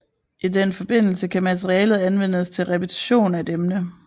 I den forbindelse kan materialet anvendes til repetition af et emne